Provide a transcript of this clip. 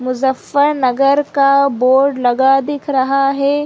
मुज्जफरनगर का बोर्ड लगा दिख रहा है।